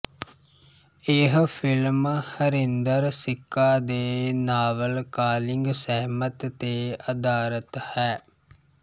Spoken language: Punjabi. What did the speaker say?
ਇਹ ਫ਼ਿਲਮ ਹਰਿੰਦਰ ਸਿੱਕਾ ਦੇ ਨਾਵਲ ਕਾਲਿੰਗ ਸਹਿਮਤ ਤੇ ਅਧਾਰਤ ਹੈ